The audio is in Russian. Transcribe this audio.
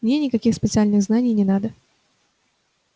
мне никаких специальных знаний не надо